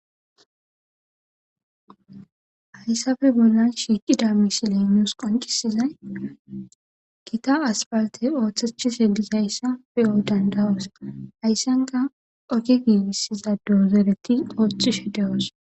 Haysappe bollan shiqida misiley nuusi qoncisizayi Gita asphaltey oothetishe dizaysa beyo danda'osi, haysan qasi oge giigisiza dozoreti oothishe de'osona.